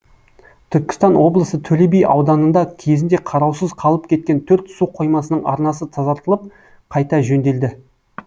түркістан облысы төле би ауданында кезінде қараусыз қалып кеткен төрт су қоймасының арнасы тазартылып қайта жөнделді